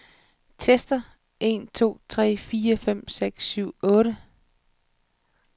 Tester en to tre fire fem seks syv otte.